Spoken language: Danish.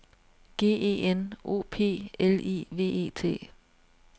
G E N O P L I V E T